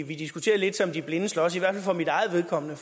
vi diskuterer lidt som de blinde slås i hvert fald for mit eget vedkommende